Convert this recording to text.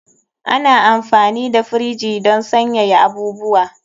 Ana amfani da firiji don sanyaya abubuwa.